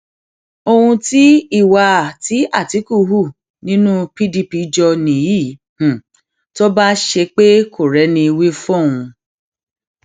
ohun tí ìwà tí àtìkù hù nínú pdp jọ nìyí tó bá ṣe pé kò rẹni wí fóun